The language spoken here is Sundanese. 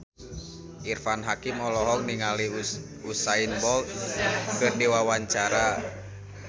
Irfan Hakim olohok ningali Usain Bolt keur diwawancara